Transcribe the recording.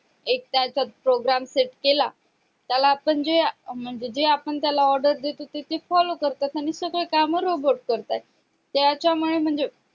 एक त्याचा आपण program सेट केला त्यालाआपण जे म्हणजे जे आपण order देतो ते follow करतात आणि सगळे काम rebort करतात त्याच्या मुळे म्हणजे